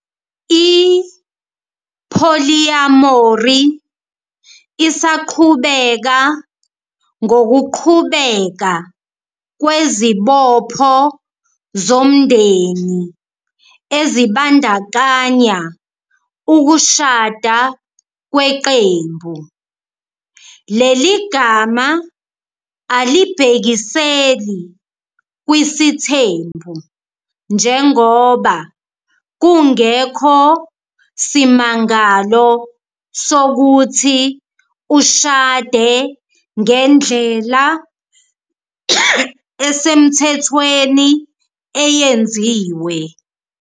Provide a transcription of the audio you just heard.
I-Polyamory isaqhubeka ngokuqhubeka kwezibopho zomndeni ezibandakanya ukushada kweqembu. Leli gama alibhekiseli kwisithembu njengoba kungekho simangalo sokuthi ushade ngendlela esemthethweni eyenziwe.